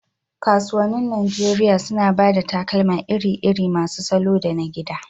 Kasuwannin Najeriya suna ba da takalma iri-iri masu salo da na gida.